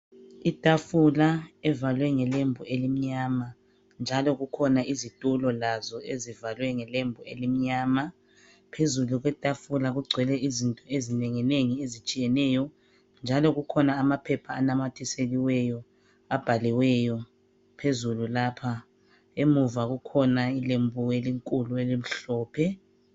Itafula evalwe ngelembu elimnyama njalo kukhona izitulo lazo ezivalwe ngelembu elimnyama. Phezulu kwetafula kugcwele izinto ezinenginengi ezitshiyeneyo njalo kukhona amaphepha anamathiseliweyo abhaliweyo phezulu lapha. Emuva kukhona ilembu elinkulu elimhlophe.